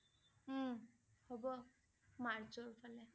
উম হব মাৰ্চৰ ফালে